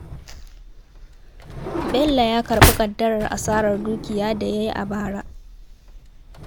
Bello ya karɓi ƙaddarar asarar dukiya da ya yi a bara